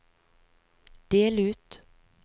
del ut